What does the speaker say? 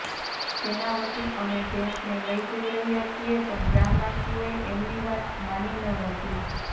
જેના વતી અમે ભેંસને લઈ જઈ રહ્યા છીએ પણ ગામવાસીઓએ એમની વાત માની ન હતી